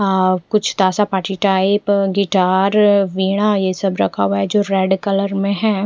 आ कुछ ताज़ा party type guitar veena ये सब रखा हुआ है जो रेड कलर में है।